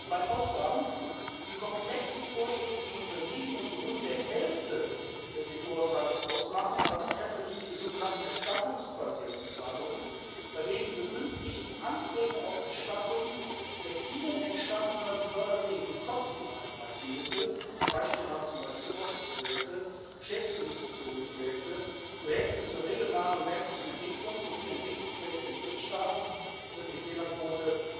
Bei Ausgaben, die komplexen Vorschriften unterliegen und die rund die Hälfte des EU Haushalts ausmachen, also in erster Linie die sogenannten erstattungsbasierten Zahlungen, bei denen die Begünstigten Anträge auf Erstattung der ihnen entstandenen förderfähigen Kosten einreichen müssen zum Beispiel Forschungsprojekte, beschäftigungsbezogene Projekte, Projekte zur regionalen und ländlichen Entwicklung sowie Entwicklungsprojekte in Drittstaaten wird die Fehlerquote